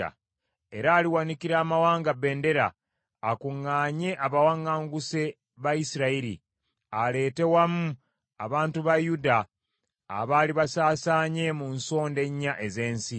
Era aliwanikira amawanga bbendera, akuŋŋaanye abawaŋŋanguse ba Isirayiri; aleete wamu abantu ba Yuda abaali basaasaanye mu nsonda ennya ez’ensi.